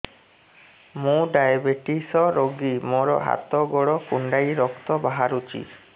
ମୁ ଡାଏବେଟିସ ରୋଗୀ ମୋର ହାତ ଗୋଡ଼ କୁଣ୍ଡାଇ ରକ୍ତ ବାହାରୁଚି